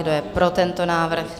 Kdo je pro tento návrh?